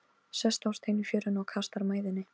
Systa, hvað er að frétta?